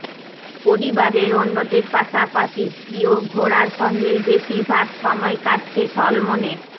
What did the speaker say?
পরিবারের অন্যদের পাশাপাশি প্রিয় ঘোড়ার সঙ্গেই বেশিরভাগ সময় কাটছে সলমনের